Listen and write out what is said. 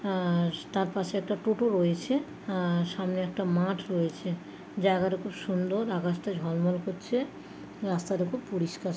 আর তার পাশে একটা টোটো রয়েছে |আহ সামনে একটা মাঠ রয়েছে | জায়গাটা খুব সুন্দর আকাশটা ঝলমল করছে | রাস্তাটা খুব পরিষ্কার ।